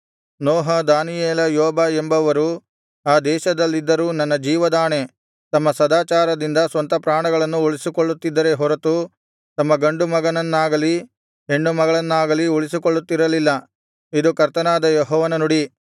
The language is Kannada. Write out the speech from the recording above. ನೋಹ ದಾನಿಯೇಲ ಯೋಬ ಎಂಬುವರು ಆ ದೇಶದಲ್ಲಿದ್ದರೂ ನನ್ನ ಜೀವದಾಣೆ ತಮ್ಮ ಸದಾಚಾರದಿಂದ ಸ್ವಂತಪ್ರಾಣಗಳನ್ನು ಉಳಿಸಿಕೊಳ್ಳುತ್ತಿದ್ದರೇ ಹೊರತು ತಮ್ಮ ಗಂಡು ಮಗನನ್ನಾಗಲಿ ಹೆಣ್ಣು ಮಗಳನ್ನಾಗಲಿ ಉಳಿಸಿಕೊಳ್ಳುತ್ತಿರಲಿಲ್ಲ ಇದು ಕರ್ತನಾದ ಯೆಹೋವನ ನುಡಿ